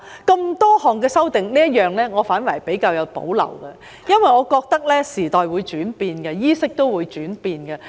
對於眾多修訂，我對這一項反而有點保留，因為我認為時代會轉變，衣飾也會轉變。